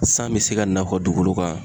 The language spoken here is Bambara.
San be se ka na aw ka dugukolo kan